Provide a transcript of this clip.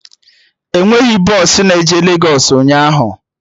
Enweghị bọsụ na-eje Legos ụnyaahụ